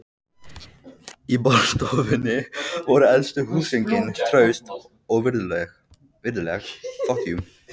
Í borðstofunni voru elstu húsgögnin, traust og virðuleg.